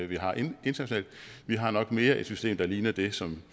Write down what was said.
vi har internationalt vi har nok mere et system der ligner det som